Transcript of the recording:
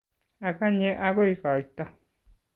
Aganye agoi koito